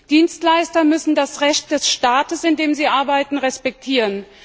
Dienstleister müssen das Recht des Staates, in dem sie arbeiten, respektieren.